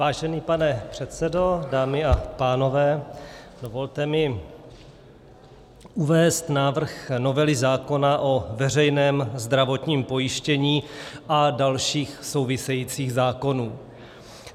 Vážený pane předsedo, dámy a pánové, dovolte mi uvést návrh novely zákona o veřejném zdravotním pojištění a dalších souvisejících zákonů.